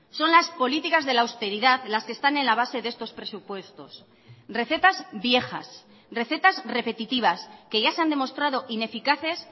son las políticas de la austeridad las que están en la base de estos presupuestos recetas viejas recetas repetitivas que ya se han demostrado ineficaces